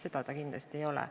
Seda see kindlasti ei ole.